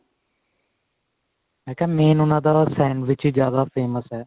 ਮੈਂ ਕਿਹਾ ਵੀ main ਉਹਨਾ ਦਾ sandwich ਹੀ ਜਿਆਦਾ famous ਹੈ